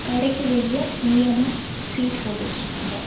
கடைக்கு வெளிய நீளமா சீட் போட்டு வச்சிருக்காங்க.